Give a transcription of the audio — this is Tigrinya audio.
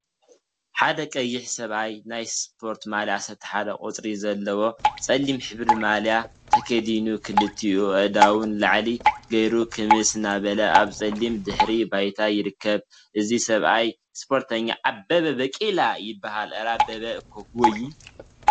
ሓደ ቀይሕ ሰብአይ ናይ ስፖርቲ ማልያ 11 ቁፅሪ ዘለዋ ፀሊም ሕብሪ ማልያ ተከዲኑ ክልቲኡ አእዳው ንላዕሊ ገይሩ ክምስ እናበለ አብ ፀሊም ድሕረ ባይታ ይርከብ፡፡ እዚ ሰብአይ ስፖርተኛ አበበ ባቄላ ይበሃል፡፡ አረ አበበ እኮ ክጎይይ!